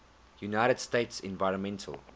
united states environmental